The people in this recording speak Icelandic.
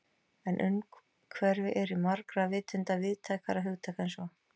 En umhverfi er í margra vitund víðtækara hugtak en svo.